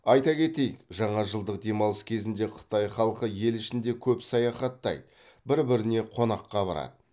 айта кетейік жаңажылдық демалыс кезінде қытай халқы ел ішінде көп саяхаттайды бір біріне қонаққа барады